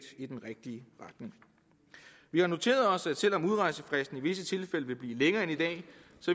i den rigtige retning vi har noteret os at selv om udrejsefristen i visse tilfælde vil blive længere end i dag